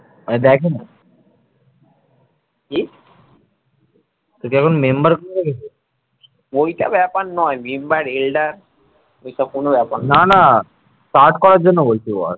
cut করার জন্য বলছো ওর